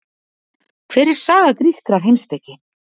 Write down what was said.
Hver er saga grískrar heimspeki?